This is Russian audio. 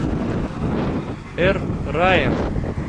эр райян